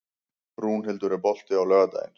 Rúnhildur, er bolti á laugardaginn?